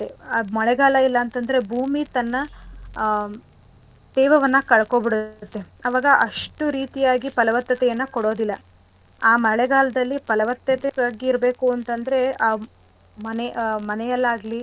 ಮಳೆಗಾಲ ಇಲ್ಲ ಅಂತದ್ರೆ ಭೂಮಿ ತನ್ನ ಆ ತೇವವನ್ನ ಕಳ್ಕೊಂಡ್ಬಿಡತ್ತೆ ಆವಾಗ ಅಷ್ಟು ರೀತಿಯಾಗಿ ಫಲವತ್ತತೆಯನ್ನ ಕೊಡೋದಿಲ್ಲ. ಆ ಮಳೆಗಾಲದಲ್ಲಿ ಫಲವತ್ತತೆ ಯಾಗಿರ್ಬೇಕುಂತಂದ್ರೆ ಆ ಮನೆಯಲ್ಲಾಗ್ಲಿ.